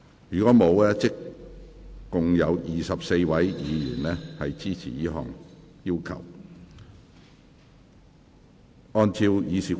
如果沒有，共有24位議員支持這項要求。